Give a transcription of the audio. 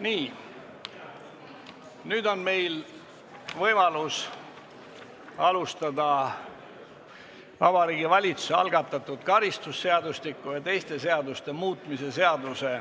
Nii, nüüd on meil võimalus alustada Vabariigi Valitsuse algatatud karistusseadustiku ja teiste seaduste muutmise seaduse